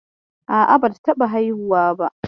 A'a, bata taɓa haihuwa ba.